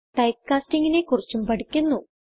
type castingനെ കുറിച്ചും പഠിക്കുന്നു